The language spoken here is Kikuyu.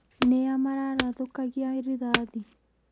Nĩa mararathũkagia rĩthathi?